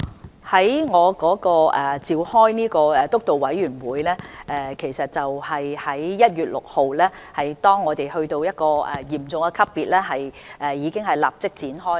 我主持的督導委員會會議是在1月6日，當香港已啟動嚴重級別時立即召開的。